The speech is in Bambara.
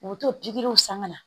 U bɛ to pikiriw san ka na